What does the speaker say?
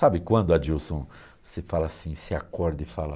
Sabe quando, Adilson, você fala assim, você acorda e fala...